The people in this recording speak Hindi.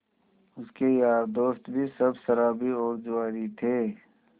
उसके यार दोस्त भी सब शराबी और जुआरी थे